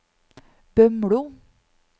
Bømlo